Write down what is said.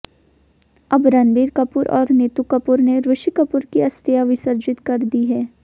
अब रणबीर कपूर और नीतू कपूर ने ऋषि कपूर की अस्थियां विसर्जित कर दी है